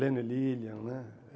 Lennon e Lillian, né?